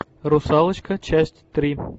русалочка часть три